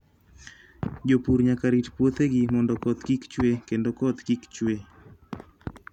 Jopur nyaka rit puothegi mondo koth kik chue kendo koth kik chue.